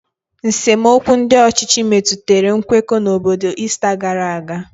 nsemokwu ndị ọchịchị metụtara nkwekọ n'obodo Ista gara aga.